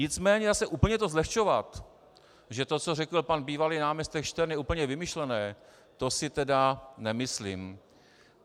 Nicméně zase úplně to zlehčovat, že to, co řekl pan bývalý náměstek Štern, je úplně vymyšlené, to si tedy nemyslím.